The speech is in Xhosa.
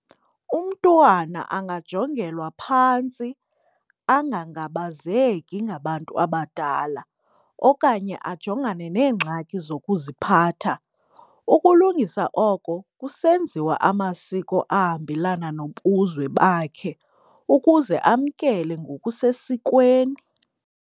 Umntwana angajongelwa phantsi, angangabazeki ngabantu abadala okanye ajongane neengxaki zokuziphatha. Ukulungisa oko kusenziwa amasiko ahambelana nobuzwe bakhe ukuze amkele ngokusesikweni.